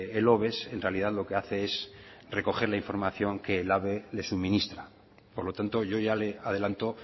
el oves en realidad lo que hace es recoger la información que el elhabe le suministra por lo tanto yo ya le adelanto